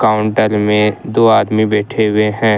अंदर में दो आदमी बैठे हुए हैं।